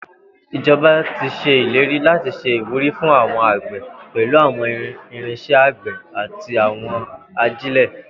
Ijọba ti ṣe ileri lati ṣe iwuri fun awọn agbe pẹlu awọn irinṣẹ agbe ati awọn ajile.